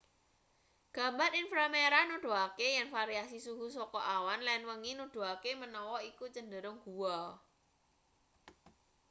gambar inframerah nuduhake yen variasi suhu saka awan lan wengi nuduhake manawa iku cenderung guwa